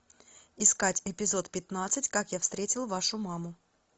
искать эпизод пятнадцать как я встретил вашу маму